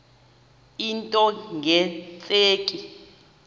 into nge tsheki